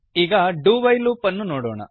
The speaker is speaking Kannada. ಈಗ ಡು ವೈಲ್ ಲೂಪ್ ನೋಡೋಣ